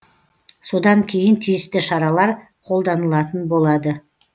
содан кейін тиісті шаралар қолданылатын болады